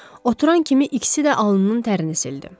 Oturan kimi ikisi də alnının tərini sildi.